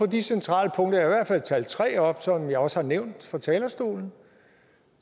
de centrale punkter og jeg fald talt tre op som jeg også har nævnt fra talerstolen